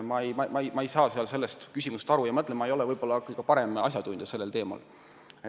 Ma ei saa sellest küsimusest aru ja võib-olla ei ole ma kõige parem asjatundja sellel teemal.